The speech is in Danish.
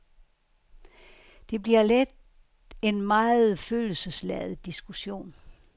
Det bliver let en meget følelsesladet diskussion.